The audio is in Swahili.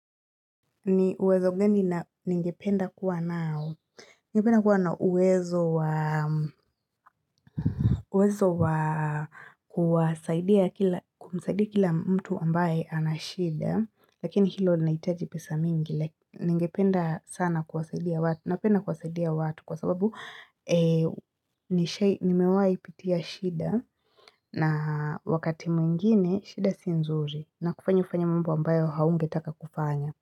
Ni uwezo gani ningependa kuwa nao, ningependa kuwa na uwezo wa kumsaidia kila mtu ambaye ana shida lakini hilo linaitaji pesa mingi Ningependa sana kuwasaidia watu Kwa sababu nimewai pitia shida na wakati mwingine shida si nzuri inakufanya ufanye mambo ambayo haungetaka kufanya.